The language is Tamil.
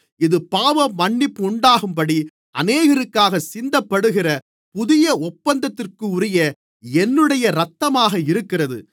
இது பாவமன்னிப்புண்டாகும்படி அநேகருக்காகச் சிந்தப்படுகிற புதிய ஒப்பந்தத்திற்குரிய என்னுடைய இரத்தமாக இருக்கிறது